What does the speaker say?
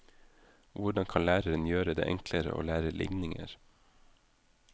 Hvordan kan læreren gjøre det enklere å lære ligninger?